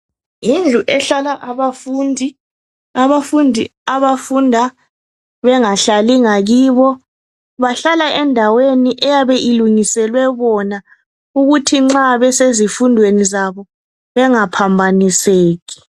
Yindlu ehlala abafundi abafundi abafunda bengahlali ngakibo bahlala endaweni eyabe ilungiselwe bona ukuthi nxa besezifundweni zabo bengaphambaniseki.